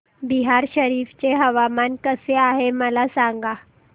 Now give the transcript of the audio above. बिहार शरीफ चे हवामान कसे आहे मला सांगा